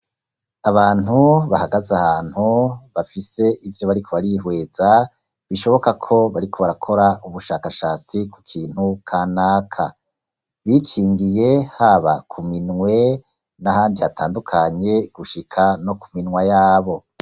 Abantu bahagaze ahantu bafise ivyo bariko barihweza bishoboka ko bariko barakora ubushakashatsi ku kintu kanaka, bikingiye haba ku minwe n'ahandi hatandukanye gushika no ku minwa yabo.